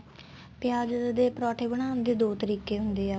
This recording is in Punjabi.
ਪਿਆਜ ਦੇ ਪਰੋਂਠੇ ਬਣਾਨ ਦੇ ਦੋ ਤਰੀਕੇ ਹੁੰਦੇ ਏ